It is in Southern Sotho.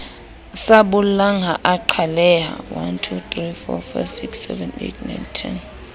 sa bollang ha a qhaleha